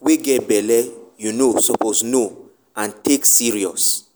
wey get belle you know suppose know and take serious.